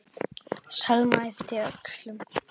Selma yppti öxlum.